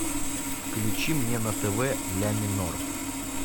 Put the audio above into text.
включи мне на тв ля минор